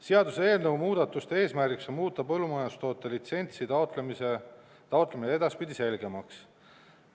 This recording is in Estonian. Seaduseelnõu muudatuste eesmärgiks on muuta põllumajandustoote litsentsi taotlemine edaspidi selgemaks.